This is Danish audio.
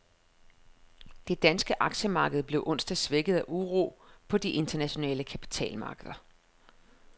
Det danske aktiemarked blev onsdag svækket af uro på de internationale kapitalmarkeder.